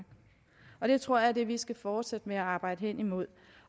jeg tror at det er det vi skal fortsætte med at arbejde hen imod